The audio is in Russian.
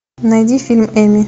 найди фильм эмми